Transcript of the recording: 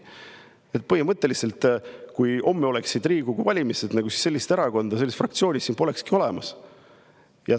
Nii et põhimõtteliselt, kui homme oleksid Riigikogu valimised, siis sellist erakonda, sellist fraktsiooni siin polekski olemas.